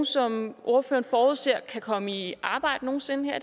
som ordføreren forudser kan komme i arbejde nogen sinde